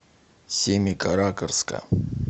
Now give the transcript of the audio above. семикаракорска